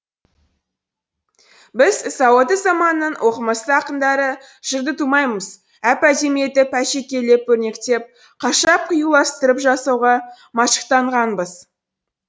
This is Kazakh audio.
біз сауатты заманның оқымысты ақындары жырды тумаймыз әп әдемі етіп әшекейлеп өрнектеп қашап қиюластырып жасауға машықтанғанбыз